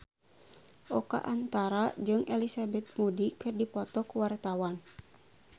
Oka Antara jeung Elizabeth Moody keur dipoto ku wartawan